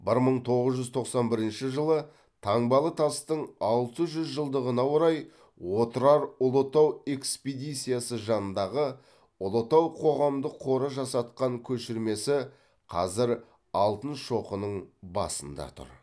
бір мың тоғыз жүз тоқсан бірінші жылы таңбалы тастың алты жүз жылдығына орай отырар ұлытау экспедициясы жанындағы ұлытау қоғамдық қоры жасатқан көшірмесі қазір алтын шоқының басында тұр